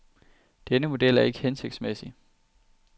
Denne model er ikke hensigtsmæssig.